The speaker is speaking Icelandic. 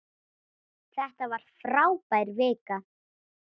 Þetta var frábær vika.